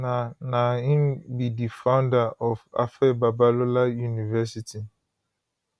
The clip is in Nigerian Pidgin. na na im be di founder of afe babalola university